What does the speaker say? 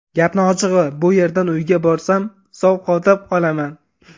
Gapni ochig‘i, bu yerdan uyga borsam sovqotib qolaman.